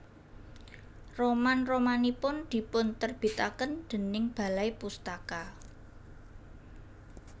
Roman romanipun dipun terbitaken déning Balai Pustaka